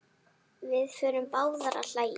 Við förum báðar að hlæja.